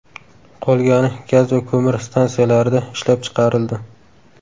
Qolgani gaz va ko‘mir stansiyalarida ishlab chiqarildi.